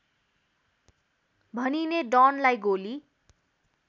भनिने डनलाई गोली